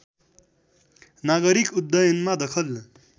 नागरिक उड्डयनमा दखल